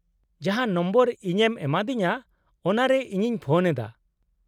-ᱡᱟᱦᱟᱸ ᱱᱚᱢᱵᱚᱨ ᱤᱧᱮᱢ ᱮᱢᱟᱫᱤᱧᱟᱹ ᱚᱱᱟᱨᱮ ᱤᱧᱤᱧ ᱯᱷᱳᱱ ᱮᱫᱟ ᱾